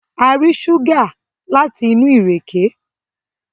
A rí ṣúgà láti inú ìrèké